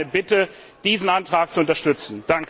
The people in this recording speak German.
Darum meine Bitte, diesen Antrag zu unterstützen.